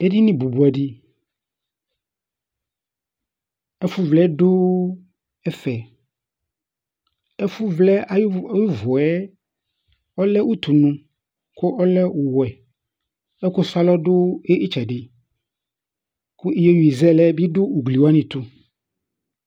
Edini bʋbʋɛ di Ɛfʋ vlɛ du ɛfɛ Ɛfʋ vlɛ ayʋ ʋvu yɛ ɔlɛ ʋtʋnʋ kʋ ɔlɛ ɔwɛ Ɛkʋ su alɔ bi du itsɛdi kʋ iyeyi zɛlɛ bi du ugli wani tu